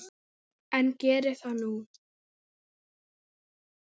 En geri það nú.